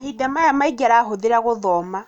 Mahinda maka maingĩ arahũthĩra gũthoma